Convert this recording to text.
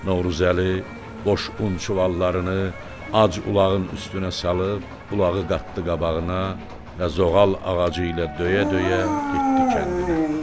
Novruzəli boş unçuvalarını ac ulağın üstünə salıb, ulağı qatdı qabağına və zoğal ağacı ilə döyə-döyə getdi kəndinə.